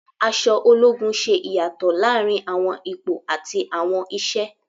Àwọn aṣọ ológun ṣe ìyàtọ̀ láàrin àwọn ipò àti àwọn iṣẹ,